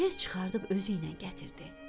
Tez çıxardıb özüylə gətirdi.